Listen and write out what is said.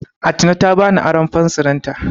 Atine ta bani aron fensirinta.